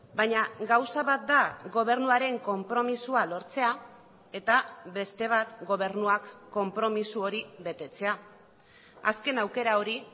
baina gauza bat da gobernuaren konpromisoa lortzea eta beste bat gobernuak konpromiso hori betetzea azken aukera hori